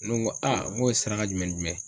Ne ko n ko a , n ko ye airaka jumɛn ni jumɛn ye?